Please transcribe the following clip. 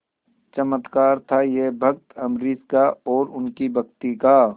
चमत्कार था यह भक्त अम्बरीश का और उनकी भक्ति का